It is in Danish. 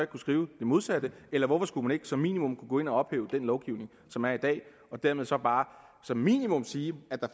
kunne skrive det modsatte eller hvorfor skulle man ikke som minimum kunne gå ind og ophæve den lovgivning som er i dag og dermed så bare som minimum sige at der